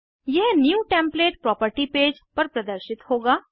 यह new template property page पर प्रदर्शित होगा